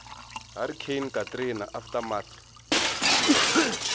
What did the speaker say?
hurricane katrina aftermath